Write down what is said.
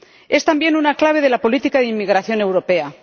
Es también una clave de la política de inmigración europea.